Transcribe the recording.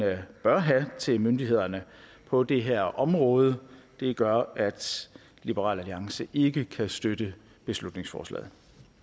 bør have til myndighederne på det her område gør at liberal alliance ikke kan støtte beslutningsforslaget